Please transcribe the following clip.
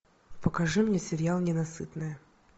покажи мне сериал ненасытная